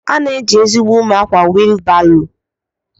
Ana eji ezigbo ume akwa wilu baro.